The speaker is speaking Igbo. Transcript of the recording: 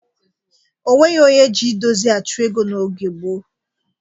Onweghi onye ji idozi achụ ego n'oge gboo.